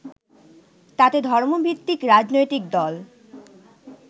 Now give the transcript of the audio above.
তাতে ধর্মভিত্তিক রাজনৈতিক দল